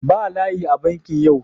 Ba layi a bankin yau.